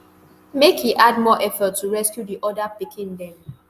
make e add more effort to rescue di oda pikin dem